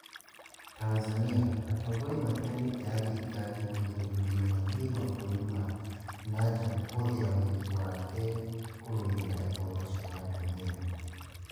Tanzania: Atongoria matiganite a thirikari kũgirĩrĩrio mathiĩ mabũrũri ma na nja akĩhũthĩra ũhiki wake kũrũĩrĩra ihooto cia atumia